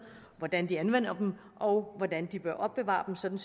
hvordan de anvender dem og hvordan de bør opbevare dem sådan